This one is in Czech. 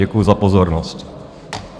Děkuji za pozornost.